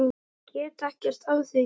Get ekkert að því gert.